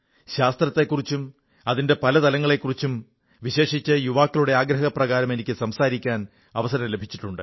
ശാസ്ത്രത്തെക്കുറിച്ചും അതിന്റെ പല തലങ്ങളെക്കുറിച്ചും വിശേഷിച്ച് യുവാക്കളുടെ ആഗ്രഹപ്രകാരം എനിക്ക് സംസാരിക്കാൻ അവസരം ലഭിച്ചിട്ടുണ്ട്